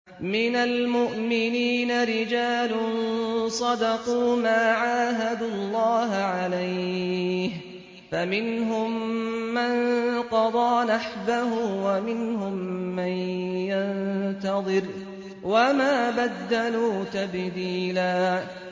مِّنَ الْمُؤْمِنِينَ رِجَالٌ صَدَقُوا مَا عَاهَدُوا اللَّهَ عَلَيْهِ ۖ فَمِنْهُم مَّن قَضَىٰ نَحْبَهُ وَمِنْهُم مَّن يَنتَظِرُ ۖ وَمَا بَدَّلُوا تَبْدِيلًا